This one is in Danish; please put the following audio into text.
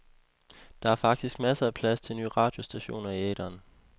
Der er faktisk masser af plads til nye radiostationer i æteren.